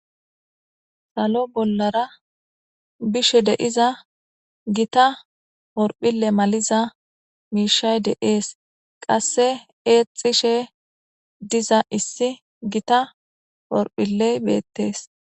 Salo bollara bishe deiza gita horphille maliza miishay deees qasse eexishe diza issi gita horphiley beettees